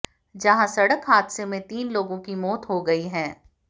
जहां सड़क हादसे में तीन लोगों की मौत हो गई है